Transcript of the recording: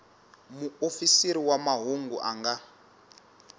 muofisiri wa mahungu a nga